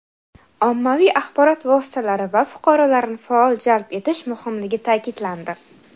ommaviy axborot vositalari va fuqarolarni faol jalb etish muhimligi ta’kidlandi.